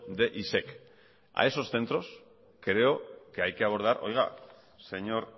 de isec a esos centros creo que hay que abordar señor